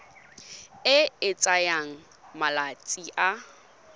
e e tsayang malatsi a